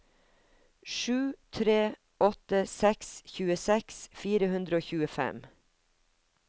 sju tre åtte seks tjueseks fire hundre og tjuefem